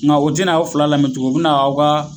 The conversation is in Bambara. Nga u tena aw fila lamɛn tugun u be na aw ka